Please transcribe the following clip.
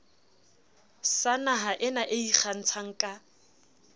sa nahaena e ikgantshang ka